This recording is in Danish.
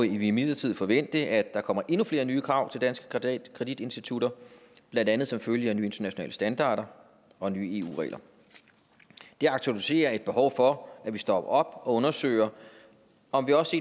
imidlertid forvente at der kommer endnu flere nye krav til danske kreditinstitutter blandt andet som følge af nye internationale standarder og nye eu regler det aktualiserer et behov for at vi stopper op og undersøger om vi også